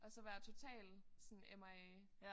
Og så var jeg totalt sådan MIA